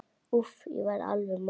Úff, ég verð alveg óður.